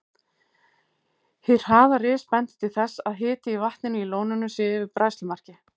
Hið hraða ris bendir til þess, að hiti í vatninu í lóninu sé yfir bræðslumarki.